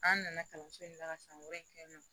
An nana kalanso in ne la ka san wɛrɛ kɛ yen nɔ